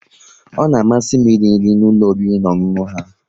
Ọ na amasị m iri nri n'ụlọ oriri na ọṅụṅụ ha